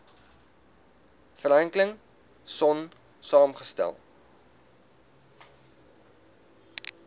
franklin sonn saamgestel